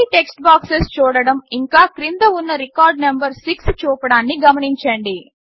ఖాళీ text boxes చూడడం ఇంకా క్రింద ఉన్న రికార్డ్ నంబర్ 6 చూపడాన్ని గమనించండి